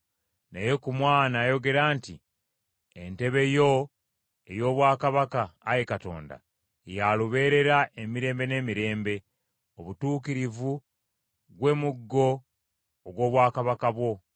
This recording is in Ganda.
Naye ku Mwana ayogera nti, “Entebe yo ey’Obwakabaka, Ayi Katonda, ya lubeerera emirembe n’emirembe; obutuukirivu, gwe muggo ogw’obwakabaka bwo.